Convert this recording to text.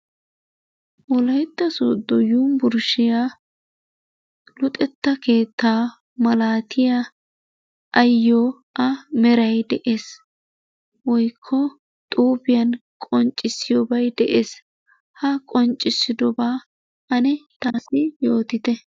Wolaytta Sooddo yunbburshiya luxetta keetta malatiya ayyo a meray de'ees woykko xuufiyan qoncciyoobay de'ees. Ha qonccisidooba ane taassi yootite.